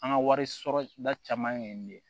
An ka wari sɔrɔta caman ye nin ye